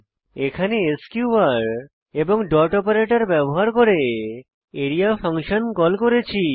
এখানে এসকিউআর এবং dot operator ব্যবহার করে আরিয়া ফাংশন কল করেছি